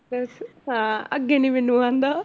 ਹਾਂ ਅੱਗੇ ਨੀ ਮੈਨੂੰ ਆਉਂਦਾ